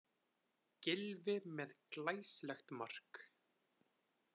Gylfi með glæsilegt mark